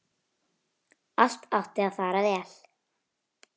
Allt átti að fara vel.